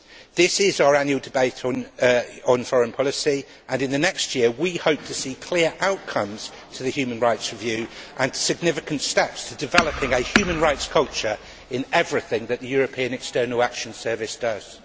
This is our annual debate on foreign policy, and in the next year, we hope to see clear outcomes to the human rights review and significant steps to developing a human rights culture in everything that the European External Action Service does.